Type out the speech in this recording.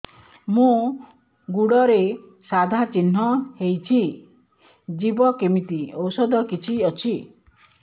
ମୋ ଗୁଡ଼ରେ ସାଧା ଚିହ୍ନ ହେଇଚି ଯିବ କେମିତି ଔଷଧ କିଛି ଅଛି